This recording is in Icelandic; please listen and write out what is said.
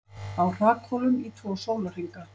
Á hrakhólum í tvo sólarhringa